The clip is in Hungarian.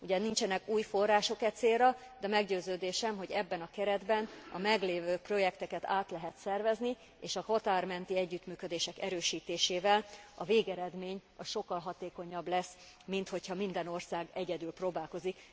Ugye, nincsenek új források e célra, de meggyőződésem, hogy ebben a keretben a meglévő projekteket át lehet szervezni, és a határ menti együttműködések erősítésével a végeredmény sokkal hatékonyabb lesz, mint hogyha minden ország egyedül próbálkozik.